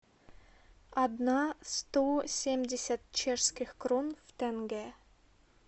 одна сто семьдесят чешских крон в тенге